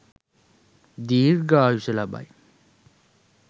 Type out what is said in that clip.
දීර්ඝායුෂ ලබයි.